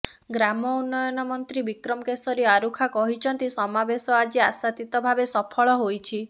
ଗ୍ରାମ ଉନ୍ନୟନମନ୍ତ୍ରୀ ବିକ୍ରମକେଶରୀ ଆରୁଖା କହିଛନ୍ତି ସମାବେଶ ଆଜି ଆଶାତୀତ ଭାବେ ସଫଳ ହୋଇଛି